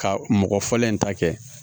Ka mɔgɔ fɔlɔ in ta kɛ